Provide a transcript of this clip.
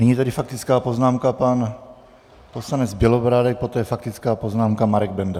Nyní tedy faktická poznámka, pan poslanec Bělobrádek, poté faktická poznámka, Marek Benda.